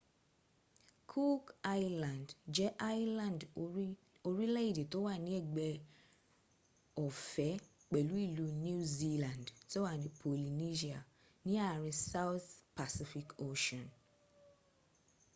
cook island jẹ island orílẹ́ èdè tó wà ní ẹgbẹ́ ọ̀fẹ́ pẹ̀lú ìlú new zealand tó wà ní polynesia ní àárín south pacific ocean